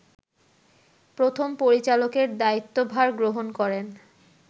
প্রথম পরিচালকের দায়িত্বভার গ্রহণ করেন